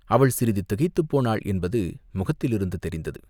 அவள் சிறிது திகைத்துப் போனாள் என்பது முகத்திலிருந்து தெரிந்தது.